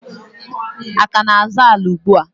a ka na-azọ ala ugbua?